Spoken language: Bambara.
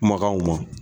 Kumakanw ma